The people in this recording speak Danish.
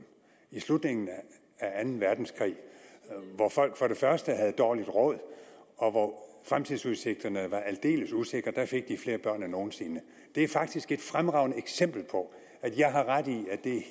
i slutningen af anden verdenskrig hvor folk havde dårligt råd og hvor fremtidsudsigterne var aldeles usikre fik de flere børn end nogen sinde det er faktisk et fremragende eksempel på at jeg har ret i